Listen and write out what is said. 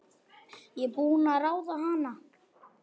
Ég er búin að ráða hana!